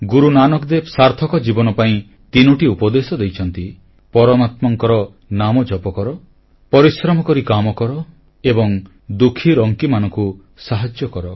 ଗୁରୁ ନାନକ ଦେବ ସାର୍ଥକ ଜୀବନ ପାଇଁ ତିନୋଟି ଉପଦେଶ ଦେଇଛନ୍ତି ପରମାତ୍ମାଙ୍କର ନାମ ଜପକର ପରିଶ୍ରମ କରି କାମ କର ଏବଂ ଦୁଃଖୀରଙ୍କିମାନଙ୍କୁ ସାହାଯ୍ୟ କର